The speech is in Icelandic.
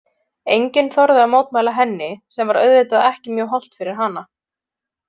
Enginn þorði að mótmæla henni sem var auðvitað ekki mjög hollt fyrir hana.